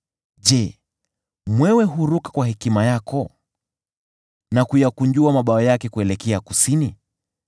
“Je, mwewe huruka kwa hekima yako na kuyakunjua mabawa yake kuelekea kusini?